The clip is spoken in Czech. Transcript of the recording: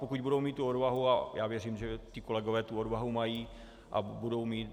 Pokud budou mít tu odvahu, a já věřím, že ti kolegové tu odvahu mají a budou mít.